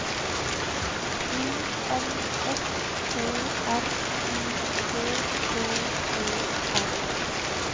I N S T R U K T Ø R